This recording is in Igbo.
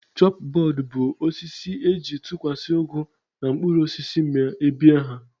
Chọp bọọdụ bụ osisi e ji a tụkwasị ụgụ na mkpụrụosisi ma bie ha